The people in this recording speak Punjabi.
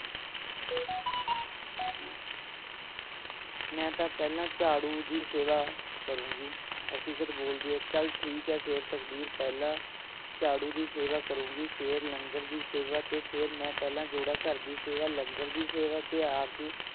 ਮੈਂ ਤਾ ਪਹਿਲਾਂ ਝਾੜੂ ਦੀ ਸੇਵਾ ਕਰੂਗੀ ਹਕੀਕਤ ਬੋਲਦੀ ਹੈ ਚਲ ਠੀਕ ਹੈ ਫੇਰ ਤਕਦੀਰ ਪਹਿਲਾਂ ਝਾੜੂ ਦੀ ਸੇਵਾ ਕਰੂਗੀ ਫੇਰ ਲੰਗਰ ਦੀ ਸੇਵਾ ਤੇ ਫੇਰ ਮੈਂ ਪਹਿਲਾਂ ਜੋੜਾ ਘਰ ਦੀ ਸੇਵਾ ਲੰਗਰ ਦੀ ਸੇਵਾ ਤੇ ਆਰਜ਼ੂ